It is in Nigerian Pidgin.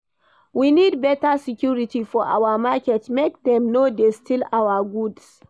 We need beta security for our market, make dem no dey steal our goods.